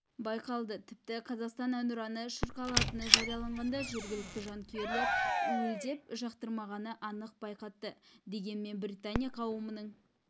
байқалды тіпті қазақстан әнұраны шырқалатыны жарияланғанда жергілікті жанкүйерлер уілдеп жақтырмағанын анық байқатты дегенмен британия қауымының